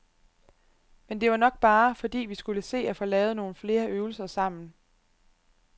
Men det var nok bare, fordi vi skulle se at få lavet nogle flere øvelser sammen.